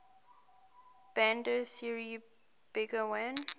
bandar seri begawan